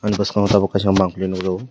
aboni boskango tabok kaisa manpli nugjago.